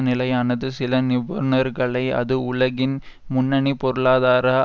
நிலையானது சில நிபுணர்களை அது உலகின் முன்னனி பொருளாதார